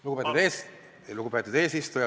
Lugupeetud eesistuja!